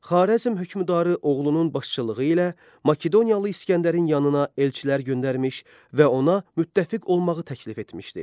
Xarəzm hökmdarı oğlunun başçılığı ilə Makedoniyalı İsgəndərin yanına elçilər göndərmiş və ona müttəfiq olmağı təklif etmişdi.